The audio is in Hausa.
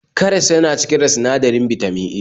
Karas yana cike da sinadarin Bitamin A